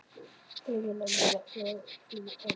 Greinilega nývaknaður og í fínu formi.